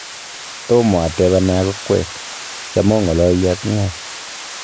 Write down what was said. Tomo atebenak okwek, cham oo ng'alali ak ng'oo